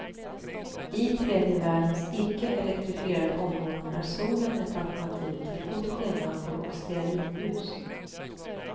I tredje världens icke elektrifierade områden är solen ett alternativ till fotogenlampor och stearinljus.